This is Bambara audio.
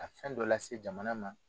Ka fɛn dɔ lase jamana ma